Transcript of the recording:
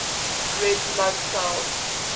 red blood cell